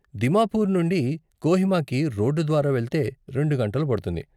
దిమాపుర్నుండి కోహిమాకి రోడ్డు ద్వారా వెళ్తే రెండు గంటలు పడుతుంది.